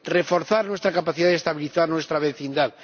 reforzar nuestra capacidad de estabilizar nuestra vecindad.